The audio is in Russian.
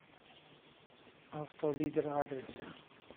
авто лидер адрес